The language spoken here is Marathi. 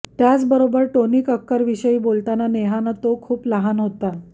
याचबरोबर टोनी कक्करविषयी बोलताना नेहानं तो खूप लहान होता